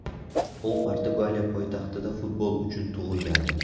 U Portugaliya poytaxtida futbol uchun tug‘ilgandi.